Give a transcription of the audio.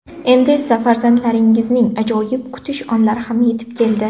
Endi esa farzandlaringizning ajoyib kutish onlari ham yetib keldi.